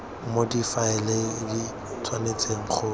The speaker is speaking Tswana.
moo difaele di tshwanetseng go